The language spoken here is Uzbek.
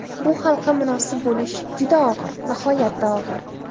Bu xalqqa munosib bo‘lish juda og‘ir, nihoyatda og‘ir.